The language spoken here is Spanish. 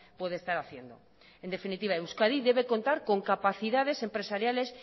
puede estar haciendo en definitiva euskadi debe contar con capacidades empresariales